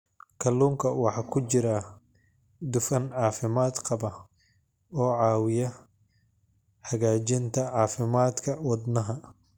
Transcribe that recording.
Kalluunka waxaa ku jira dufan caafimaad qaba oo caawiya hagaajinta caafimaadka wadnaha.